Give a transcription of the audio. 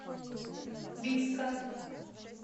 бийска